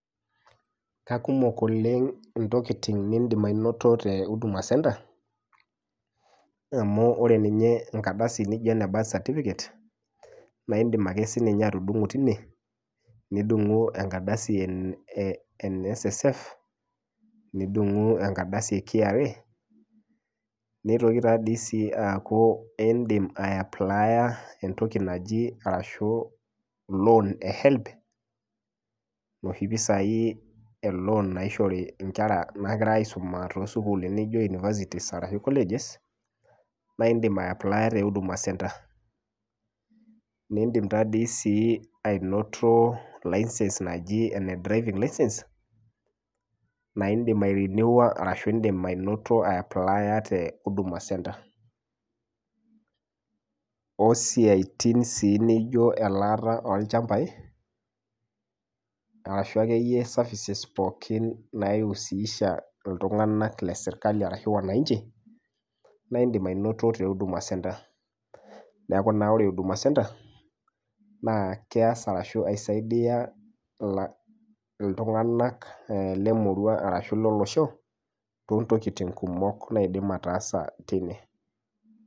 K akumok oleng intokitin nindim ainoto te huduma centre amu ore ninye enkardasi nijio ene birth certificate naindim ake sininye atudung'o tine nidung'u enkardasi e NSSF nidung'u enkaradasi e KRA neitoki taa dii sii aaku eindim aeaplaya entoki naji arashu loan e HELB noshi pisai e loan naishori inkera naigira aisuma tosukulini njio universities arashu colleges naindim ae aplaya te huduma centre naindim tadei sii ainoto license naji ene driving license naindim ae riniwa arashu indim ainoto ae aplaya te huduma centre osiatin sii nijio elaata olchambai arashu akeyie services pookin naiusisha iltung'anak lesirkali arashu wananchi naindim ainoto te huduma centre neku naa ore huduma centre naa keas arashu aisaidia ila iltung'anak eh lemurua arashu lolosho tontokiting kumok naidim ataasa teine.